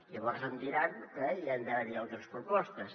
llavors em diran que hi han d’haver altres propostes